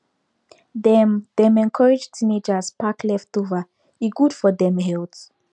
dem dem encourage teenagers pack leftover e good for dem health